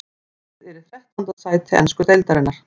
Liðið er í þrettánda sæti ensku deildarinnar.